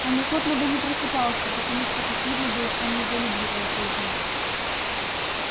он охотно бы не просыпался потому что как видно было он недолюбливал жизни